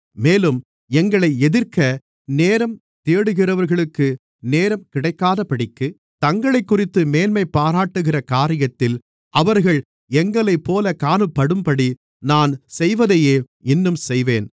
மேலும் எங்களை எதிர்க்க நேரம் தேடுகிறவர்களுக்கு நேரம் கிடைக்காதபடிக்கு தங்களைக்குறித்து மேன்மைபாராட்டுகிற காரியத்தில் அவர்கள் எங்களைப்போலக் காணப்படும்படி நான் செய்வதையே இன்னும் செய்வேன்